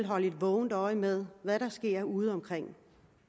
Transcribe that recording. holde et vågent øje med hvad der sker udeomkring